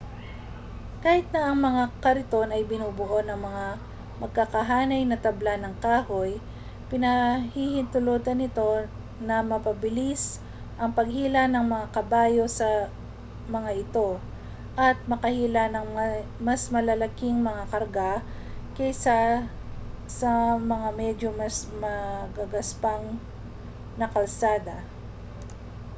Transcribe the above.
kahit na ang mga kariton ay binubuo ng mga magkakahanay na tabla ng kahoy pinahihintulutan nito na mapabilis ang paghila ng mga kabayo sa mga ito at makahila ng mas malalaking mga karga kaysa sa mga medyo mas magagaspang na kalsada